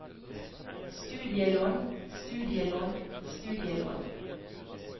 studielån studielån studielån